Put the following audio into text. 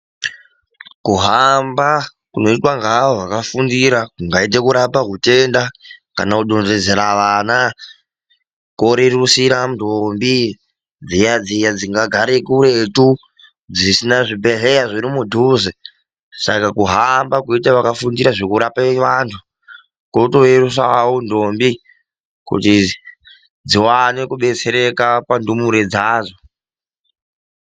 Kuhamba kunoita ngeavo vakafundira kungaite kurape hutenda kana kudonhedzera vana kwererusira ndombi dziyadziya dzingagare kuretu, dzisina zvibhehlera zviri mudhuze .Saka kuhamba kweita akafundira zveku rape vantu koto reruysira ndombi kuti zviwane kudetsereka pazvindumure zvazvo.